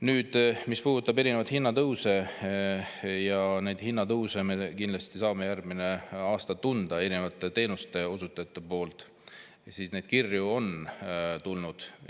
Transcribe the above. Nüüd, mis puudutab erinevaid hinnatõuse, siis neid me saame järgmisel aastal kindlasti tunda erinevate teenuseosutajate puhul, neid kirju on tulnud.